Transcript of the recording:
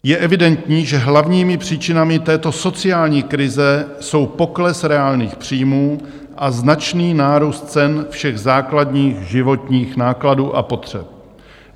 Je evidentní, že hlavními příčinami této sociální krize jsou pokles reálných příjmů a značný nárůst cen všech základních životních nákladů a potřeb.